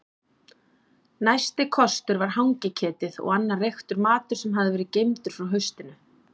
Næsti kostur var hangiketið og annar reyktur matur sem hafði verið geymdur frá haustinu.